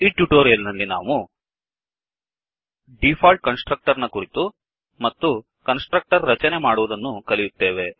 ಈ ಟ್ಯುಟೋರಿಯಲ್ ನಲ್ಲಿ ನಾವು default constructor default constructor ನ ಕುರಿತು ಮತ್ತು ಕನ್ಸ್ ಟ್ರಕ್ಟರ್ ರಚನೆ ಮಾಡುವುದನ್ನು ಕಲಿಯುತ್ತೇವೆ